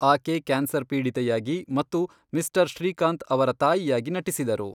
ಆಕೆ ಕ್ಯಾನ್ಸರ್ ಪೀಡಿತೆಯಾಗಿ ಮತ್ತು ಮಿಸ್ಟರ್ ಶ್ರೀಕಾಂತ್ ಅವರ ತಾಯಿಯಾಗಿ ನಟಿಸಿದರು.